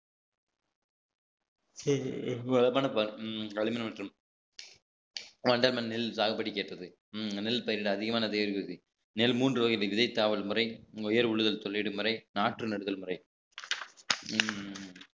களிமண் மற்றும் வண்டல் மண் நெல் சாகுபடிக்கு ஏற்றது உம் நெல் பயிரிடு அதிகமான தேவி விதி நெல் மூன்று வகை முறை உயர் உள்ளுதல் சொல்லிடும் முறை நாற்று நடுதல் முறை உம்